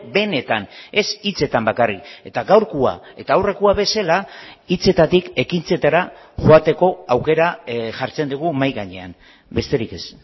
benetan ez hitzetan bakarrik eta gaurkoa eta aurrekoa bezala hitzetatik ekintzetara joateko aukera jartzen dugu mahai gainean besterik ez